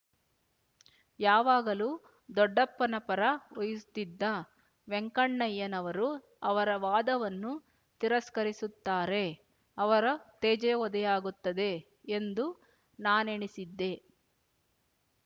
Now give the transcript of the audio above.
ಯಾವಾಗಲೂ ದೊಡ್ಡಪ್ಪನ ಪರ ವಹಿಸುತ್ತಿದ್ದ ವೆಂಕಣ್ಣಯ್ಯನವರು ಅವರ ವಾದವನ್ನು ತಿರಸ್ಕರಿಸುತ್ತಾರೆ ಅವರ ತೇಜೋವಧೆಯಾಗುತ್ತದೆ ಎಂದು ನಾನೆಣಿಸಿದ್ದೆ